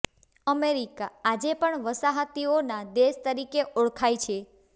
America આજે પણ વસાહતીઓના દેશ તરીકે ઓળખાય છે